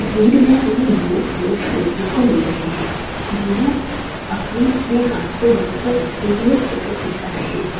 इस तस्वीर मे हमे दो लोग देखने को मिल रहे है दोनो अपने अपने हाथ को गाल पर रखे हुए फोटो खीचा रहे है।